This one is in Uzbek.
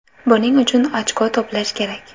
Buning uchun ochko to‘plash kerak.